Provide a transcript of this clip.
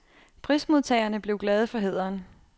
Prismodtagerne blev glade for hæderen.